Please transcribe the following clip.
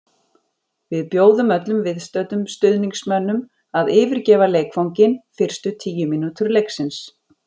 Við bjóðum öllum viðstöddum stuðningsmönnum að yfirgefa leikvanginn fyrstu tíu mínútur leiksins.